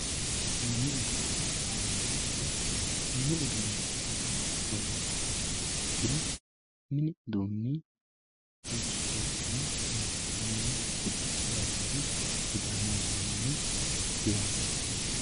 mini uduunne yaamamanno mini usuunneeti yaa mayyate yiniha ikkiro mini uduunni duucha doogonni horonsi'nanniho mixashsho lawaari midaano lawaari biraadiste lawaari